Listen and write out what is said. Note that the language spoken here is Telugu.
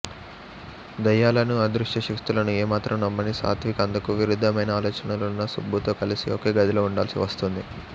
దయ్యాలను అదృశ్య శక్తులను ఏమాత్రం నమ్మని సాత్విక్ అందుకు విరుద్ధమైన ఆలోచనలున్న సుబ్బుతో కలిసి ఒకే గదిలో ఉండాల్సి వస్తుంది